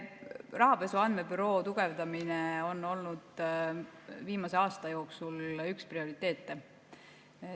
Rahapesu Andmebüroo tugevdamine on olnud viimase aasta jooksul üks prioriteete.